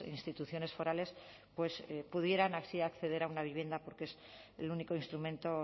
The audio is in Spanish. instituciones forales pues pudieran así acceder a una vivienda porque es el único instrumento